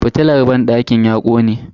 Fitilar banɗakin ya kone.